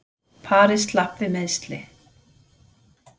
Parið slapp við meiðsli